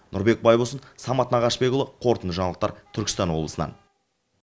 нұрбек байбосын самат нағашыбекұлы қорытынды жаңалықтар түркістан облысынан